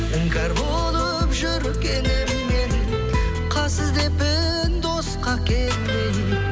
іңкәр болып жүр келем мен қас іздеппін досқа келмей